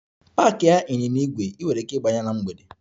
Paaki ịnyịnya ígwè! Ị nwere ike ịgba ya na mgbede.